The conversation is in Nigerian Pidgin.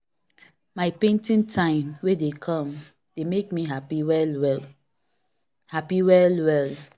my painting time wey dey come dey make me happy well well. happy well well.